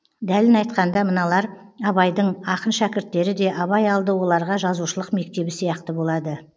дәлін айтқанда мыналар абайдың ақын шәкірттері де абай алды оларға жазушылық мектебі сияқты болады